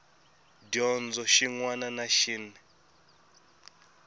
dyondzo xin wana na xin